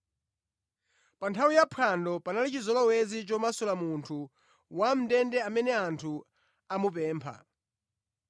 Pa nthawi ya Phwando, panali chizolowezi chomasula munthu wamʼndende amene anthu amupempha.